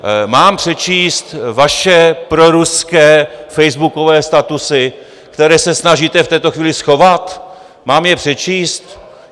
Mám přečíst vaše proruské facebookové statusy, které se snažíte v tuto chvíli schovat, mám je přečíst?